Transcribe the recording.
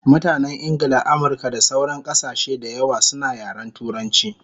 Mutanen Ingla, Amirka da sauran kasashe dayawa suna yaren turanchi